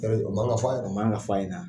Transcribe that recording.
Yɔrɔ o man kan ka f'a ye o man kan ka fɔ ɲɛna.